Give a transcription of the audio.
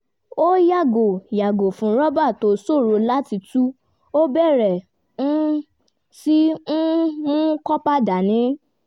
ó yàgò yàgò fún rọ́bà tó ṣòro láti tú ó bẹ̀rẹ̀ um sí í um mú kópa dání